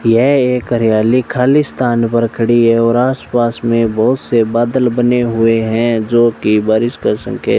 यह एक कार्यालय खाली स्थान पर खड़ी है और आस पास में बहोत से बादल बने हुए हैं जोकि बारिश का संके --